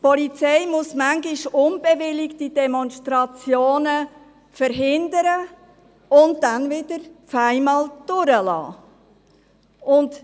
Die Polizei muss teilweise nichtbewilligte Demonstrationen verhindern und sie dann plötzlich wieder durchlassen.